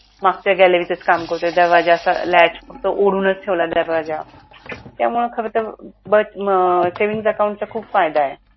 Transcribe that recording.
मागच्या galary तच काम करतो दरवाजा असा फक्त ओढूनच ठेवला दरवाजा त्यामुळे खरं तर बच अं savings account चा खूप फायदा आहे.